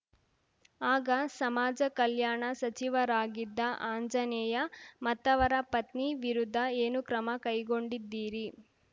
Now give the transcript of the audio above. ಆಗ ಸಮಾಜ ಕಲ್ಯಾಣ ಸಚಿವರಾಗಿದ್ದ ಆಂಜನೇಯ ಮತ್ತವರ ಪತ್ನಿ ವಿರುದ್ಧ ಏನು ಕ್ರಮ ಕೈಗೊಂಡಿದ್ದೀರಿ